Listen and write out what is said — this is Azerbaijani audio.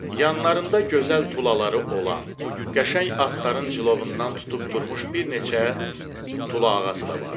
Yanlarında gözəl tulaları olan, qəşəng atların clovundan tutub durmuş bir neçə tulağası da vardı.